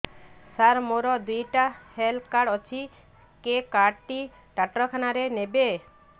ସାର ମୋର ଦିଇଟା health card ଅଛି କେ କାର୍ଡ ଟି ଡାକ୍ତରଖାନା ରେ ନେବେ